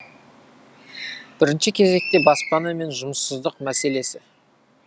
бірінші кезекте баспана мен жұмыссыздық мәселесі